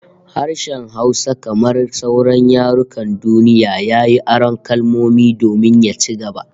Harshen Hausa kamar sauran yarukan duniya, yayi aron kalmomi domin ya ci gaba